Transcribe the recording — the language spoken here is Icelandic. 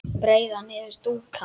breiða niður dúka